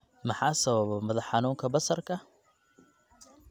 Maxaa sababa madax xanuunka basarka?